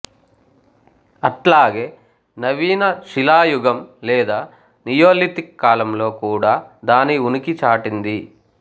అట్లాగే నవీన శిలా యుగం లేదా నియోలిథిక్ కాలంలో కూడా దాని ఉనికి చాటింది